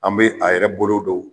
An be a yɛrɛ bolo don